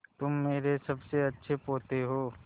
तुम मेरे सबसे अच्छे पोते हो